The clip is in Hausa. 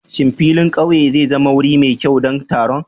Shin filin ƙauye zai zama wuri mai kyau don taron?